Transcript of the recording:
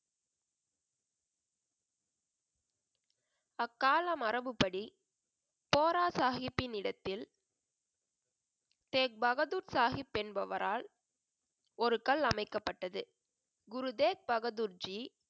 அக்கால மரபுப்படி, போரா சாஹிப்பின் இடத்தில், தேக் பகதூர் சாஹிப் என்பவரால் ஒரு கல் அமைக்கப்பட்டது. குருதேவ் பகதூர் ஜி,